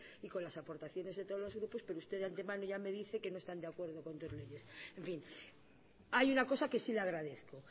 y con las aportaciones de todos los grupos pero usted de antemano ya me dice que no están de acuerdo con dos leyes en fin hay una cosa que sí le agradezco